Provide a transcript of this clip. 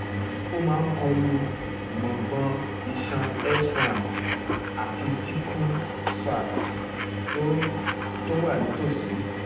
ó máa ń kọlu gbòǹgbò iṣan s one àti [csthecal sac tó tó wà nítòsí